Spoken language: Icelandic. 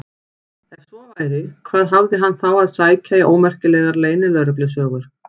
Ef svo væri, hvað hafði hann þá að sækja í ómerkilegar leynilögreglusögur?